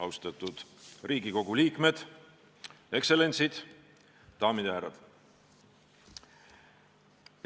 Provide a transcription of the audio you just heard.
Austatud Riigikogu liikmed, ekstsellentsid, daamid ja härrad!